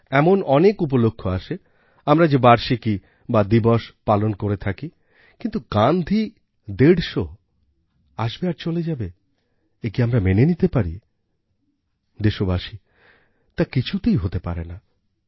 এমন অনেক উপলক্ষ আসে আমরা যে বার্ষিকী দিবস পালন করে থাকি কিন্তু গান্ধী ১৫০আসবে আর চলে যাবে একি আমরা মেনে নিতে পারি দেশবাসী তা কিছুতেই হতে পারে না